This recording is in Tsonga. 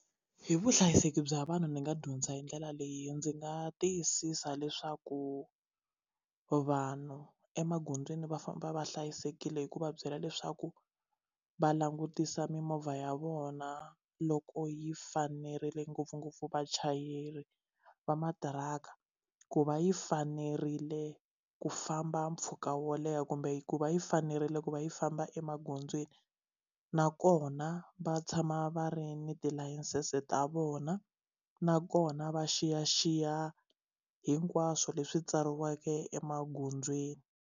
Hi vuhlayiseki bya vanhu ndzi nga dyondza hi ndlela leyi ndzi nga tiyisisa leswaku vanhu emagondzweni va famba va hlayisekile hi ku va byela leswaku va langutisa mimovha ya vona loko yi fanerile ngopfungopfu vachayeri va matiraka ku va yi fanerile ku famba mpfhuka wo leha kumbe ku va yi fanerile ku va yi famba emagondzweni nakona va tshama va ri ni tilayisense ta vona nakona va xiyaxiya hinkwaswo leswi tsariweke emagondzweni.